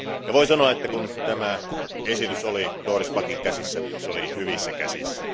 Voin sanoa, että kun tämä esitys oli Doris Packin käsissä, se oli hyvissä käsissä.